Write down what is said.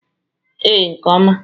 Ee, nke oma.